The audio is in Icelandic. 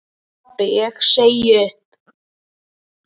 Pabbi ég segi upp!